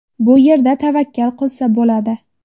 Bu yerda tavakkal qilsa bo‘ladi.